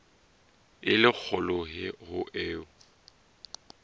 e le kgolo ho eo